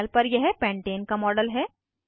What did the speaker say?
panel पर यह pentane का मॉडल है